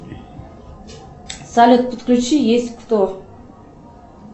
салют подключи есть кто